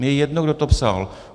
Mně je jedno, kdo to psal.